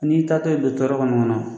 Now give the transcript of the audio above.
N'i y'i taatɔ yen don tɔɔrɔ kɔni kɔnɔ